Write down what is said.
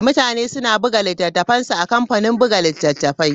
Mutane suna buga littattafansu a kamfanin buga littattafai.